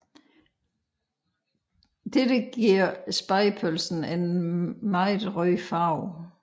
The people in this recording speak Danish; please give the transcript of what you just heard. Dette giver spegepølsen en meget rød farve